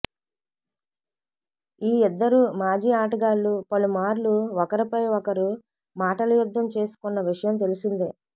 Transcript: ఈ ఇద్దరు మాజీ ఆటగాళ్లు పలుమార్లు ఒకరిపై ఒకరు మాటల యుద్ధం చేసుకున్న విషయం తెలిసిందే